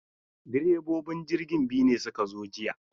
Direbobin jirgin biyu ne suka zo jiya.